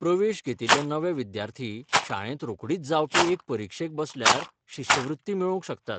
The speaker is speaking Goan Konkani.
प्रवेश घेतिल्ले नवे विद्यार्थी शाळेंत रोखडीच जावपी एके परीक्षेक बसल्यार शिश्यवृत्ती मेळोवंक शकतात.